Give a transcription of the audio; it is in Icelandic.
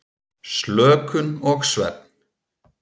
Slökun og svefn.